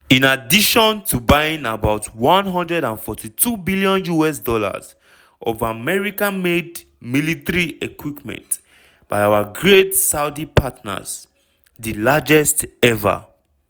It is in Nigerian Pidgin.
"in addition to buying about $142billion of american-made military equipment by our great saudi partners di largest ever.